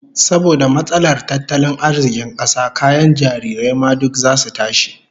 Saboda matsalar tattalin arzikin kasa, kayan jarirai ma duk zasu tashi